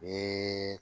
Ni